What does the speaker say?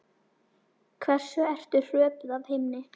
Hversu ertu hröpuð af himni